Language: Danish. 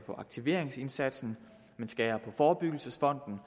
på aktiveringsindsatsen man skærer i forebyggelsesfonden